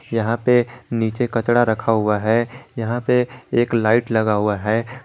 यहां पे नीचे कचड़ा रखा हुआ है यहां पे एक लाइट लगा हुआ है।